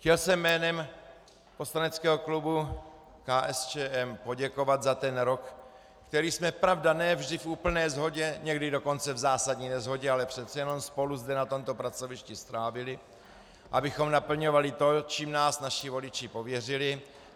Chtěl jsem jménem poslaneckého klubu KSČM poděkovat za ten rok, který jsme, pravda, ne vždy v úplné shodě, někdy dokonce v zásadní neshodě, ale přece jenom spolu zde na tomto pracovišti strávili, abychom naplňovali to, čím nás naši voliči pověřili.